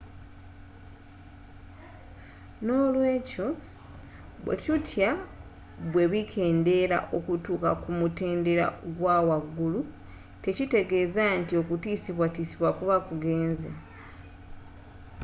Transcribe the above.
nolwekyo byetutya bwebikeendera okutuuka ku mutendeera gwawaggulu tekitegeeza nti okutiiosibwatiisibwa kuba kugenze